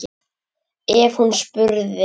Ef hún þá spurði.